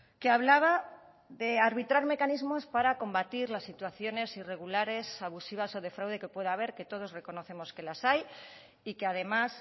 que hablaba de arbitrar mecanismos para combatir las situaciones irregulares abusivas o de fraude que pueda haber que todos reconocemos que las hay y que además